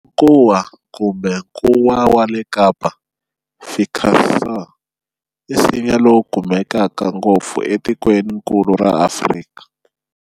Nkuwa kumbe Nkuwa wa le Kapa, "Ficus sur", i nsinya lowu kumekaka ngopfu e tikweninkulu ra Afrika.